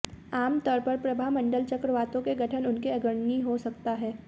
आमतौर पर प्रभामंडल चक्रवातों के गठन उनके अग्रणी हो सकता है